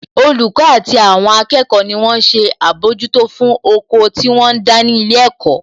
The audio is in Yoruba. Olùkọ́ àti àwọn akẹ́kọ̀ọ́ ni wón ṣe àbójútó fún oko tí wọ́n ń dá ní ilé ẹ̀kọ́